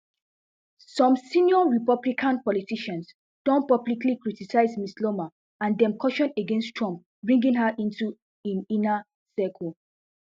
some senior republican politicians don publicly criticised ms loomer and dem caution against trump bringing her into im inner circle